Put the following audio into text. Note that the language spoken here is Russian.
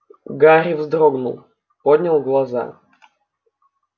гарри вздрогнул поднял глаза